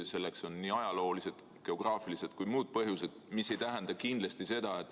Selleks on nii ajaloolised, geograafilised kui ka muud põhjused.